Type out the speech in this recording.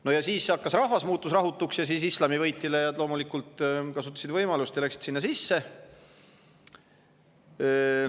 No ja siis muutus rahvas rahutuks ja islami võitlejad loomulikult kasutasid võimalust ja läksid sinna sisse.